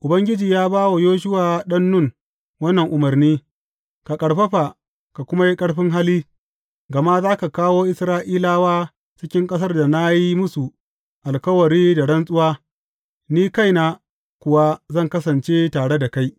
Ubangiji ya ba wa Yoshuwa ɗan Nun wannan umarni, Ka ƙarfafa, ka kuma yi ƙarfin hali, gama za ka kawo Isra’ilawa cikin ƙasar da na yi musu alkawari da rantsuwa, ni kaina kuwa zan kasance tare da kai.